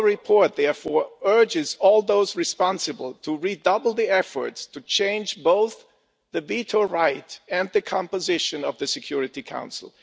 Our report therefore urges all those responsible to redouble their efforts to change both the veto right and the composition of the Security Council.